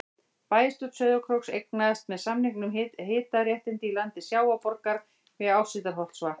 Bæjarstjórn Sauðárkróks eignaðist með samningum hitaréttindi í landi Sjávarborgar við Áshildarholtsvatn.